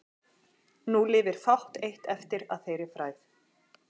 Nú lifir fátt eitt eftir að þeirri frægð.